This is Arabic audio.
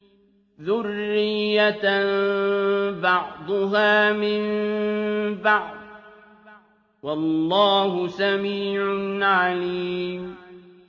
ذُرِّيَّةً بَعْضُهَا مِن بَعْضٍ ۗ وَاللَّهُ سَمِيعٌ عَلِيمٌ